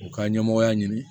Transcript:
U ka ɲɛmɔgɔya ɲini